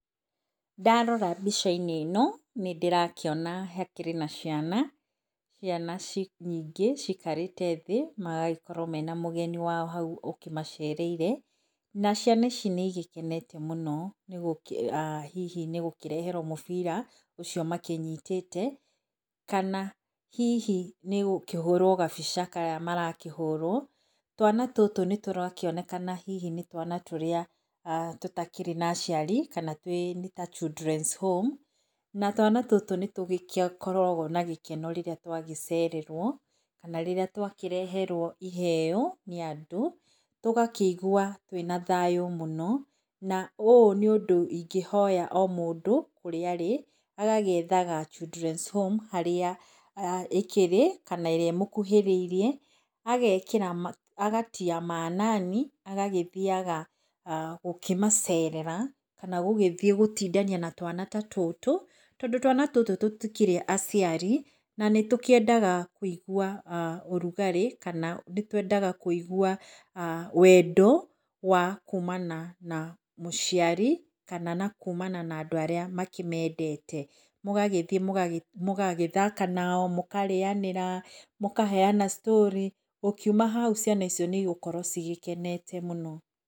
Ndarora mbica-inĩ ino nĩ ndĩrakĩona hakĩrĩ na ciana. Ciana nyingĩ cikarĩte thĩ, magagĩkorwo mena mũgeni wao hau ũkĩmacereire. Na ciana ici nĩ igĩkenete mũno, hihi nĩ gũkĩreherwo mũbira ũcio makĩnyitĩte, kana hihi nĩgũkĩhũrwo gabica karíĩ marakĩhũrwo. Twana tũtũ nĩtũrakĩonekana hihi nĩ twana nĩtũrĩa tũtakĩrĩ na aciari kana nĩta children's home. Na twana tũtũ nĩ tũgĩkoragwo na gĩkeno rĩrĩa twagĩcererwo kana rĩrĩa twakĩreherwo iheo nĩ andũ. Tũgakĩigua twĩna thayũ mũno na ũũ nĩ ũndũ ingĩhoya o mũndũ kũrĩa arĩ agagĩetha children's home harĩa ĩkĩrĩ kana ĩrĩa ĩmũkuhĩrĩiriĩ agakĩra, aga ]cs] tia maanani agagĩthiaga gũkĩmacerera kana gũgĩthiĩ gũtindania na twana tũtũ, tondũ twana tũtũ tũtikĩrĩ aciari nanĩtũkĩendaga kũigua ũrugarĩ kana nĩtwendaga kũigua wendo wa kumana na mũciari kana na kumana na andũ arĩa makĩmendete. Mũgagĩthiĩ mũgagĩthaka nao, mũkarĩanĩra, mũkaheana storĩ, ũkiuma hau ciana icio nĩigũkorwo cikenete mũno.